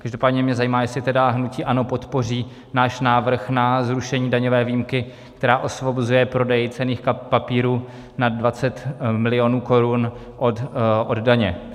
Každopádně mě zajímá, jestli tedy hnutí ANO podpoří náš návrh na zrušení daňové výjimky, která osvobozuje prodej cenných papírů nad 20 milionů korun od daně.